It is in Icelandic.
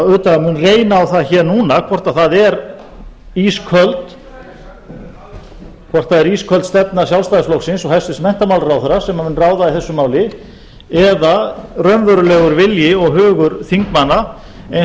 auðvitað mun reyna á það hér núna hvort það er ísköld stefna sjálfstæðisflokksins og hæstvirtur menntamálaráðherra sem mun ráða í þessu máli eða raunverulegur vilji og hugur þingmanna eins og